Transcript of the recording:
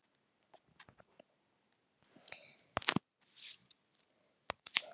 Þegar til lengdar lætur er borin virðing fyrir þessum eiginleikum.